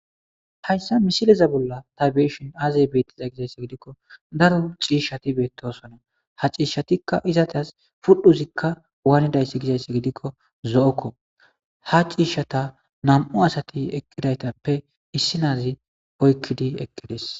Hayssa misileza bolla ta be7eshin aazay beetiza gizayssa gidikko daro ciishshati beettosana. ha ciishshatikka izateas pudhuzikka waanidayssi gizayssa gidikko zo7okko.ha ciishshata nam7u asati eqqidaytappe issi naazi oykkidi eqqides.